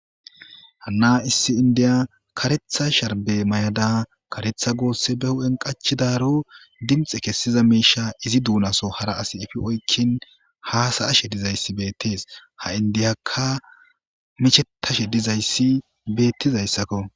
Hana issi indiya karetha sharibe mayada karetha gosse ba huphen qachadaro dinixe kesida misha izi dona soo hara assi efi oyikin hasayashe dizayisi betesi ha indiyaka mishetashe dizayisi betizako